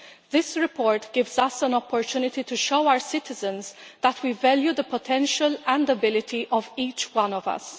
This report gives us an opportunity to show our citizens that we value the potential and the ability of each one of us.